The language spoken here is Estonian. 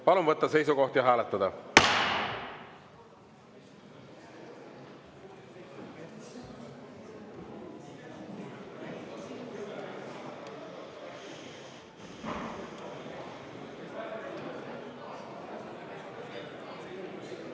Palun võtta seisukoht ja hääletada!